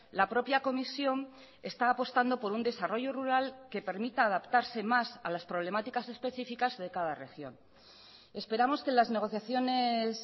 la propia comisión está apostando por un desarrollo rural que permita adaptarse más a las problemáticas específicas de cada región esperamos que las negociaciones